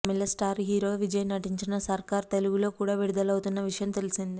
తమిళ star hero Vijay నటించిన సర్కార్ తెలుగులో కూడా విడుదలవుతున్న విషయం తెలిసిందే